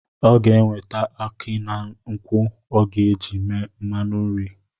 Ọ ga-eweta aki na nkwụ ọ ga-eji eme mmanụ nri